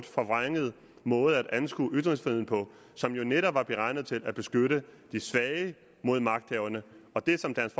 forvrænget måde at anskue ytringsfriheden på som netop var beregnet til at beskytte de svage mod magthaverne det som dansk